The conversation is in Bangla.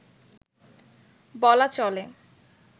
বলা চলে